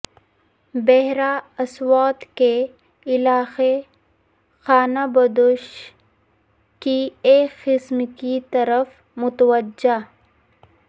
بحیرہ اسود کے علاقے خانہ بدوش کی ایک قسم کی طرف متوجہ